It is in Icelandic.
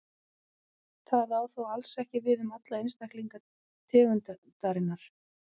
Það á þó alls ekki við um alla einstaklinga tegundarinnar.